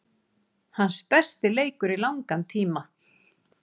Hans besti leikur í langan tíma.